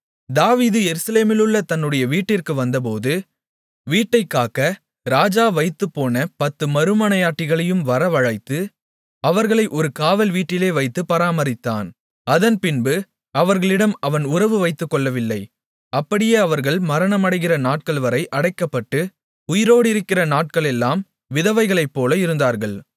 தாவீது எருசலேமிலுள்ள தன்னுடைய வீட்டிற்கு வந்தபோது வீட்டைக்காக்க ராஜா வைத்துப்போன பத்து மறுமனையாட்டிகளையும் வரவழைத்து அவர்களை ஒரு காவல் வீட்டிலே வைத்துப் பராமரித்தான் அதன்பின்பு அவர்களிடம் அவன் உறவு வைத்துக்கொள்ளவில்லை அப்படியே அவர்கள் மரணமடைகிற நாட்கள்வரை அடைக்கப்பட்டு உயிரோடிருக்கிற நாட்களெல்லாம் விதவைகளைப்போல இருந்தார்கள்